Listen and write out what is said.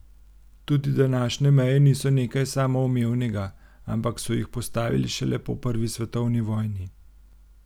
Tudi današnje meje niso nekaj samoumevnega, ampak so jih postavili šele po prvi svetovni vojni.